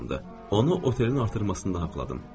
Onu otelin artırmasında haqladım.